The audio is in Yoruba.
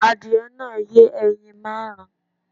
Adìyẹ náà yẹ ẹyin márùn-ún